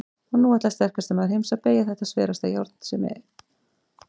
Og nú ætlar sterkasti maður heims að BEYGJA ÞETTA SVERASTA JÁRN SEM